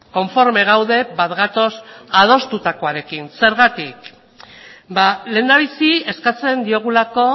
konforme gaude bat gatoz adostutakoarekin zergatik lehendabizi eskatzen diogulako